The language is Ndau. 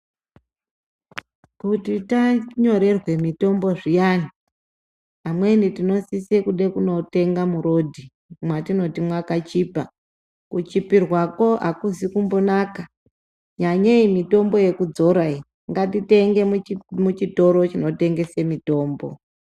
Kuti tanyorerwe mitombo zviyani amweni tinosise kude kunotenge mupato /murodhi mwatinoti mwakachipa ,kuchipirwako akuzi kumbonaka nyanyeyi mitombo yekudzora iyi ngatitengeyi muchitoro chinotengese mitombo.